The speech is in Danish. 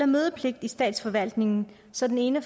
mødepligt i statsforvaltningen så den ene af